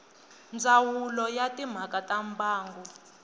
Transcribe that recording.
ndzawulo ya timhaka ta mbangu